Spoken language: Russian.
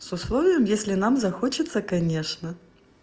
с условием если нам захочется конечно